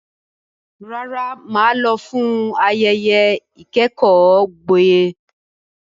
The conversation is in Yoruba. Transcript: Rárá, mà á lọ fún ayẹyẹ ìkẹ́kọ̀ọ́ gboyè.